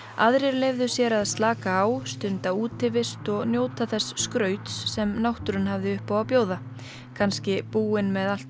aðrir leyfðu sér að slaka á stunda útivist og njóta þess skrauts sem náttúran hafði upp á að bjóða kannski búin með allt